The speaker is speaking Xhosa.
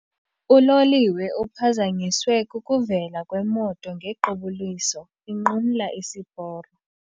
Uloliwe uphazanyiswe kukuvela kwemoto ngequbuliso inqumla isiporo.